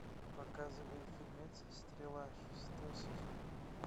показывай фильмец стрела шестой сезон